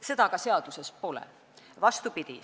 Seda aga seaduses pole, vastupidi.